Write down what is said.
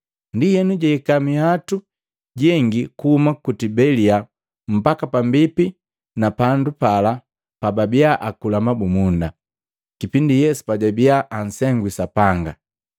Ndienu jahika minhwatu jengi kuhuma ku Tibelia mbaki pambipi na pandu pala pababiya akula mabumunda, kipindi Yesu pajabiya ansengwi Sapanga.